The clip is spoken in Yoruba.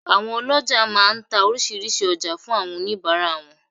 Àwọn olójà má a nta orísìírísìí ojá fún oníbàárà wọn